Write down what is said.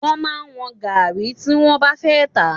Wọ́n máa ń wọ́n gàárì tí wọ́n bá fẹ́ tà.